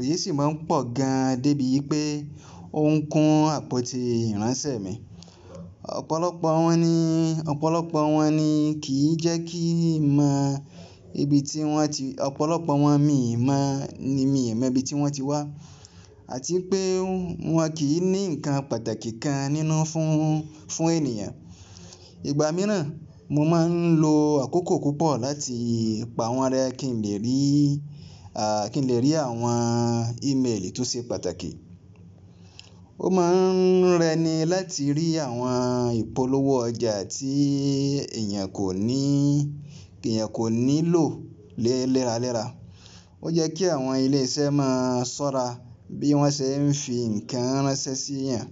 èyí sì máa ń pọ̀ gan dé bíi pé ó ń kún àpótí ìránṣẹ́ mi. Ọ̀pọ̀lọpọ̀ wọn ní, ọ̀pọ̀lọpọ̀ wọn ni kì í jẹ́ kí n mọ ibi tí wọ́n ti, ọ̀pọ̀lọpọ̀ wọn mi mọ̀ ni, mi mọ ibi tí wọ́n ti wá àti pé wọn kì í ní ǹkan pàtàkì kan nínú fún, fún ènìyàn. Ìgbà mìíràn mo máa ń lo àkókò púpọ̀ láti pa wọ́n rẹ́ kí n lè rí, kí n lè rí àwọn email tó ṣe pàtàkì. Ó máa ń rẹ ni láti rí àwọn ìpolówó ọjà tí èèyàn kò ní, èèyàn kò ní lò lé léraléra. Ó yẹ́ kí àwọn ilé iṣẹ́ máa ṣọ́ra bí wọ́n ṣe ń fi ǹkan ránṣẹ́ síyàn.